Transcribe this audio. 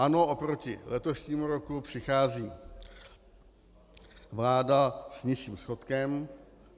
Ano, oproti letošnímu roku přichází vláda s nižším schodkem.